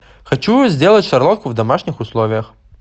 хочу сделать шарлотку в домашних условиях